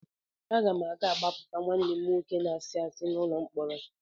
Aga m aga gbapụta nwanne m nwoke na-asị asị n'ụlọ mkpọrọ.